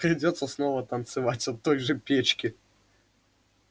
придётся снова танцевать от той же печки